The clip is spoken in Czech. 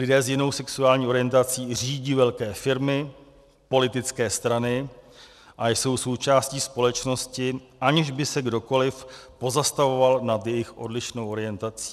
Lidé s jinou sexuální orientací řídí velké firmy, politické strany a jsou součástí společnosti, aniž by se kdokoliv pozastavoval nad jejich odlišnou orientací.